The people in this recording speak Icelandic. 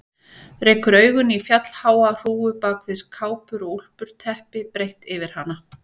Rekur augun í fjallháa hrúgu bak við kápur og úlpur, teppi breitt yfir hana.